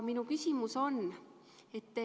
Minu küsimus on selline.